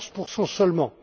en ligne. 14